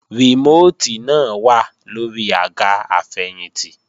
Rìmóòtì náà wà lóri àga àfẹ̀yìntì